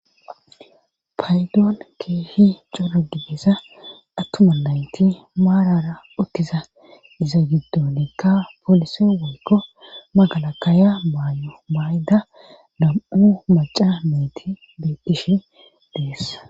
paydoon keehi coragidesa attuma nayti maarara ottiza iza giddonikka polisi woykko magalakaaya maayo mayda lam7u maca meeti beettishi deessa